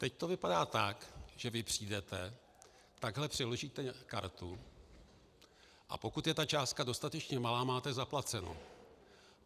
Teď to vypadá tak, že vy přijdete, takhle přiložíte kartu, a pokud je ta částka dostatečně malá, máte zaplaceno.